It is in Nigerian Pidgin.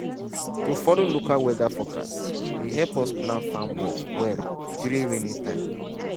to follow local weather forecast dey help us plan farm work well during rainy time.